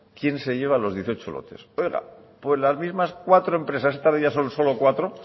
quién se lleva los dieciocho lotes pues las mismas cuatro empresas esta vez ya son solo cuatro